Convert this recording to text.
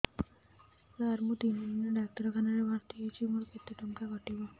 ସାର ମୁ ତିନି ଦିନ ଡାକ୍ତରଖାନା ରେ ଭର୍ତି ହେଇଛି ମୋର କେତେ ଟଙ୍କା କଟିବ